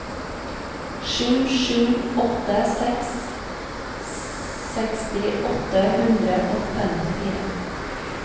sju sju åtte seks seksti åtte hundre og femtifire